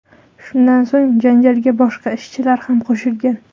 Shundan so‘ng janjalga boshqa ishchilar ham qo‘shilgan.